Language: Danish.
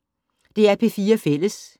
DR P4 Fælles